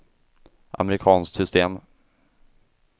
amerikanskt system